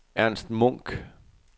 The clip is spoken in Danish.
Ernst Munk